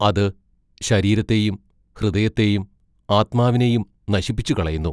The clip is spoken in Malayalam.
അതു ശരീരത്തെയും ഹൃദയത്തെയും ആത്മാവിനെയും നശിപ്പിച്ചു കളയുന്നു.